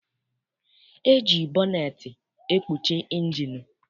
E ji bọneetị ekpuchi injinụ.